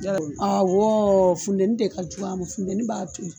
Awɔ funteni de ka jugu a ma funteni b'a toli